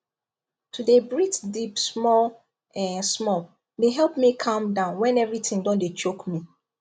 to dey breathe deep small um small dey help me calm down when everything don dey choke me